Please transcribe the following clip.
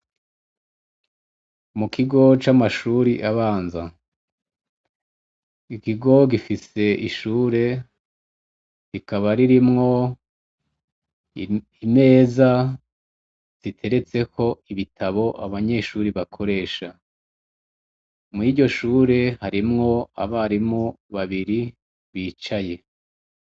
Mukigo c'amashure abanza. Ikigo gifise ishure rikaba ririmwo imeza zigeretseko ibitabo abanyeshure bakoresha. Muri iryo shure harimwo abarimu babiri bicaye.